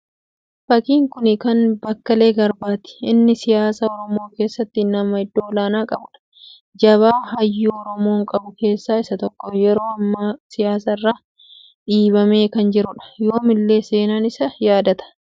Fakkiin kuni kan bekela garbaati inni siyaasa oromoo keessatti nama iddoo ol'aanaa qabuudha. Jabaa hyyuu oromoon qabu keessa isa tokko. Yeroo amma siyaasarraa dhiibamee kan jiruudha. Yoomillee seenan isa yaadata.